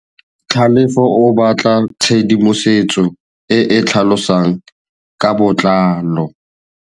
Tlhalefô o batla tshedimosetsô e e tlhalosang ka botlalô.